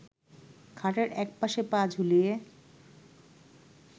খাটের এক পাশে পা ঝুলিয়ে